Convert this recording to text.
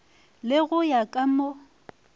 le go ya ka mo